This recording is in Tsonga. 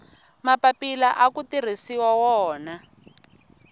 mapapila aku tirhisiwa wona